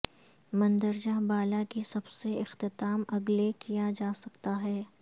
مندرجہ بالا کی سب سے اختتام اگلے کیا جا سکتا ہے